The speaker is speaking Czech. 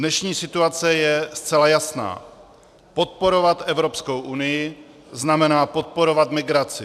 Dnešní situace je zcela jasná - podporovat Evropskou unii znamená podporovat migraci.